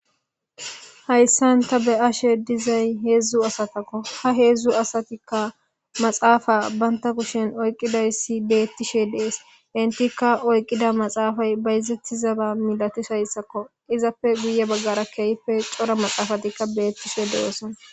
Hayssan ta be'ashe dizay heedzdzu asatakko ha heedzdzu asatikka maxaafa baynta kushen oyqqidayssi beettishe dees intikka oyqqida maxaafay bayzettizaba milatis hayssakko izappe guye baggara keeyife cora maxaafatikka beettishe de'oosona.